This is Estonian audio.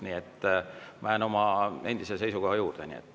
Nii et ma jään oma endise seisukoha juurde.